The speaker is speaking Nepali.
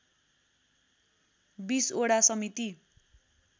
२० वडा समिति